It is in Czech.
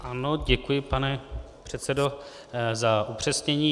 Ano, děkuji, pane předsedo, za upřesnění.